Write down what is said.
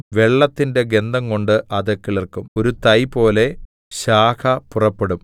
വെള്ളത്തിന്റെ ഗന്ധംകൊണ്ട് അത് കിളിർക്കും ഒരു തൈപോലെ ശാഖ പുറപ്പെടും